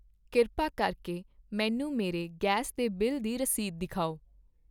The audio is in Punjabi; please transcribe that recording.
ਕਿਰਪਾ ਕਰਕੇ ਮੈਨੂੰ ਮੇਰੇ ਗੈਸ ਦੇ ਬਿੱਲ ਦੀ ਰਸੀਦ ਦਿਖਾਓ।